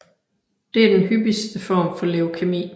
Det er den hyppigste form for leukæmi